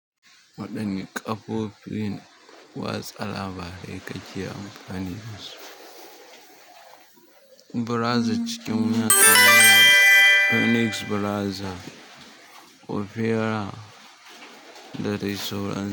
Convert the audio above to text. Waɗanne ƙafo fin watsa labarai ka ke amfani da su? Browser cikin wata waya, Phoenix browser, Opera da dai sauran.